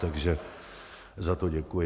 Takže za to děkuji.